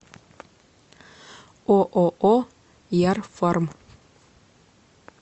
ооо ярфарм